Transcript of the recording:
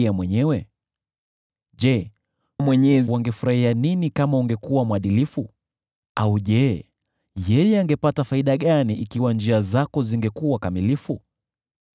Je, Mwenyezi angefurahia nini kama ungekuwa mwadilifu? Au je, yeye angepata faida gani kama njia zako zingekuwa kamilifu?